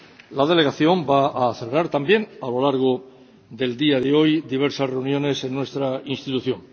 La delegación va a celebrar también a lo largo del día de hoy diversas reuniones en nuestra institución.